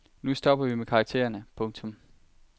Nu stopper vi med karaktererne. punktum